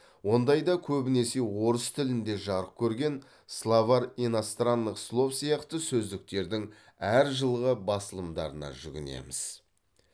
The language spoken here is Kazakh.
ондайда көбінесе орыс тілінде жарық көрген словарь иностранных слов сияқты сөздіктердің әр жылғы басылымдарына жүгінеміз